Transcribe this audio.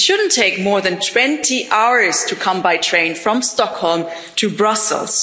It shouldn't take more than 20 hours to go by train from Stockholm to Brussels.